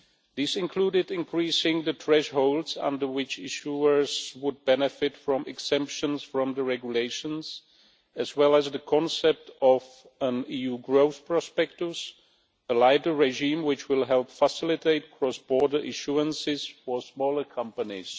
These included increasing the thresholds under which issuers would benefit from exemptions from the regulations, as well as the concept of an EU growth prospectus, a lighter regime which will help facilitate cross border issuances for smaller companies.